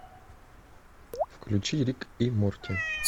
включи рик и морти